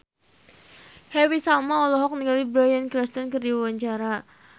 Happy Salma olohok ningali Bryan Cranston keur diwawancara